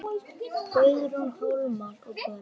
Guðrún, Hólmar og börn.